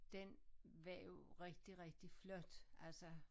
Den var jo rigtig rigtig flot altså